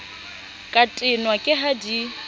ka tenwa ke ha di